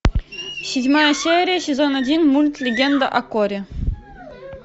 седьмая серия сезон один мульт легенда о корре